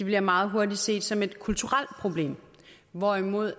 bliver meget hurtigt set som et kulturelt problem hvorimod